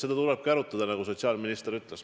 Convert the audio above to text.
Seda tulebki arutada, nagu sotsiaalminister ütles.